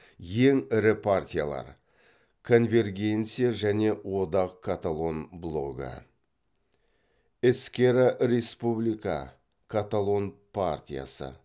ең ірі париялар конвергенция және одақ каталон блогі эскерра република каталон партиясы